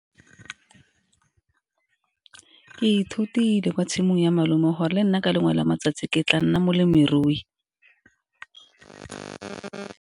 Ke ithutile kwa tshimong ya malome, gore le nna ke lengwe la matsatsi ke tla nna molemirui.